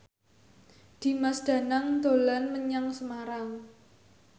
Dimas Danang dolan menyang Semarang